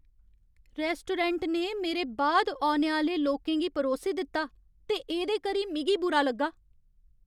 Restaurant ने मेरे बाद औने आह्‌ले लोकें गी परोसी दित्ता ते एह्दे करी मिगी बुरा लग्गा।